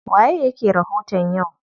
Waye yake rahoton yau?